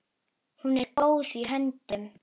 Hún er í góðum höndum.